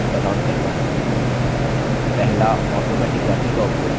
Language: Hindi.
पहला automatic wrapping का उपयोग करके